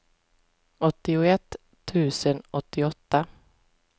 åttioett tusen åttioåtta